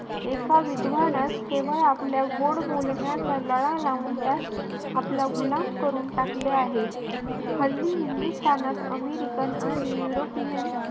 एका विद्वानास केवळ आपल्या गोड बोलण्याचा लळा लावून त्यास आपला गुलाम करून टाकले आहे. हल्ली हिंदुस्थानात अमेरिकन आणि युरोपियन